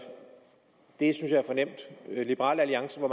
det liberal alliance har